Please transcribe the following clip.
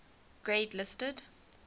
grade listed